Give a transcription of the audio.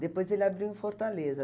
Depois ele abriu em Fortaleza.